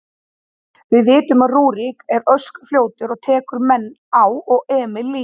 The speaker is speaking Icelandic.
Við vitum að Rúrik er öskufljótur og tekur menn á og Emil líka.